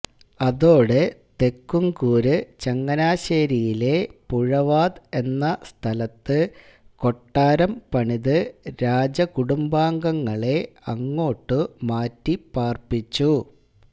അതോടെ തെക്കുംകൂര് ചങ്ങനാശ്ശേരിയിലെ പുഴവാത് എന്ന സ്ഥലത്ത് കൊട്ടാരം പണിത് രാജകുടുംബാംഗങ്ങളെ അങ്ങോട്ടുമാറ്റിപാര്പ്പിച്ചു